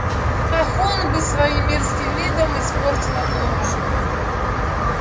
ах он бы своим мерзким видом испортил обложку